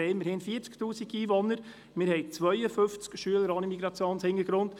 Immerhin haben wir 40 000 Einwohner, wir haben 52 Schüler ohne Migrationshintergrund.